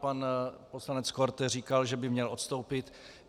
Pan poslanec Korte říkal, že by měl odstoupit.